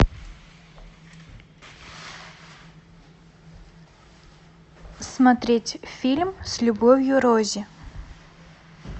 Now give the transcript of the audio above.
смотреть фильм с любовью рози